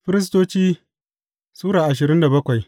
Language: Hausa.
Firistoci Sura ashirin da bakwai